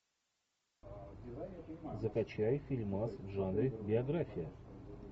закачай фильмас в жанре биография